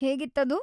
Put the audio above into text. ಹೇಗಿತ್ತದು?